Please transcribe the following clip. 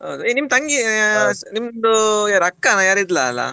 ಹೇ ನಿಮ್ ತಂಗೀ ಅಹ್ ನಿಮ್ದು ಯಾರ ಅಕ್ಕನ ಯಾರ ಇದ್ಲಲ್ಲಾ